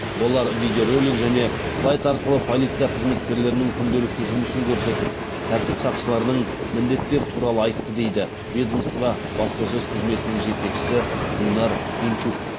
олар видеоролик және слайд арқылы полиция қызметкерлерінің күнделікті жұмысын көрсетіп тәртіп сақшыларының міндеттері туралы айтты дейді ведомство баспасөз қызметінің жетекшісі гүлнар пинчук